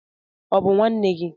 Ọ̀ bụ nwanne gị nwaanyị?